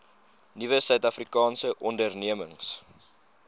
nuwe suidafrikaanse ondernemings